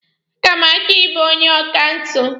A ga m achọ ịbụ onye akaụntanti.